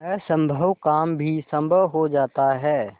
असम्भव काम भी संभव हो जाता है